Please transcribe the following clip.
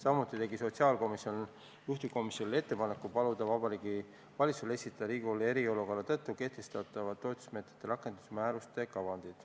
Samuti tegi sotsiaalkomisjon juhtivkomisjonile ettepaneku paluda Vabariigi Valitsusel esitada Riigikogule eriolukorra tõttu kehtestatavate toetusmeetmete rakendusmääruste kavand.